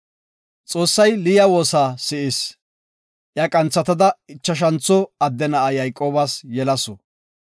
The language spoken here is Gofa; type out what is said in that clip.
Xoossay Liya woosa si7is. Iya qanthatada ichashantho adde na7a Yayqoobas yelasu.